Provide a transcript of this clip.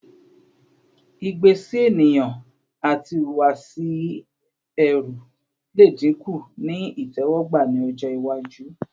igbe si eniyan ati ihuwasi ẹru le dinku ni itẹwọgba ni ọjọ iwaju